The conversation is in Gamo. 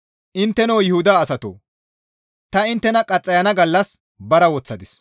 «Intteno Yuhuda asatoo! Ta inttena qaxxayana gallas bara woththadis.